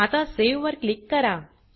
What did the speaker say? आता सावे वर क्लिक करा